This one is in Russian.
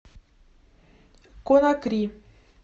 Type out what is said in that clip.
конакри